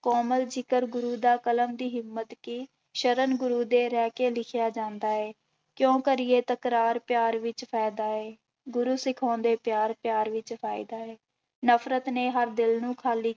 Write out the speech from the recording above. ਕੋਮਲ ਜ਼ਿਕਰ ਗੁਰੂ ਦਾ ਕਲਮ ਦੀ ਹਿੰਮਤ ਕੀ, ਸ਼ਰਨ ਗੁਰੂ ਦੇ ਰਹਿ ਕੇ ਲਿਖਿਆ ਜਾਂਦਾ ਹੈ, ਕਿਉਂ ਕਰੀਏ ਤਕਰਾਰ ਪਿਆਰ ਵਿੱਚ ਫ਼ਾਇਦਾ ਹੈ, ਗੂਰੂ ਸਿਖਾਉਂਦੇ ਪਿਆਰ ਪਿਆਰ ਵਿੱਚ ਫ਼ਾਇਦਾ ਹੈ, ਨਫ਼ਰਤ ਨੇ ਹਰ ਦਿਲ ਨੂੰ ਖਾਲੀ